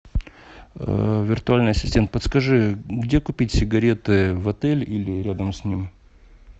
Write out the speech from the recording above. виртуальный ассистент подскажи где купить сигареты в отеле или рядом с ним